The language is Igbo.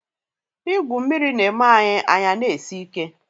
Igwu mmiri na-eme anyị anyị a na-esi ike.